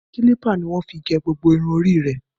Kílípà ní wọ́n fi fá gbogbo irun orí ẹ̀.